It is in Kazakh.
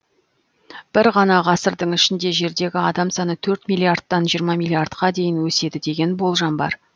бір ғана ғасырдың ішінде жердегі адам саны төрт миллиардтан екі жүз миллиардқа дейін өседі деген болжам бар